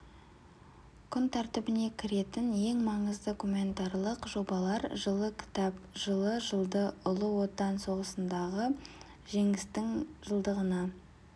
күн тәртібіне кіретін ең маңызды гуманитарлық жобалар жылы кітап жылы жылды ұлы отан соғысындағы жеңістің жылдығына